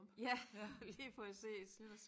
Ja lige præcis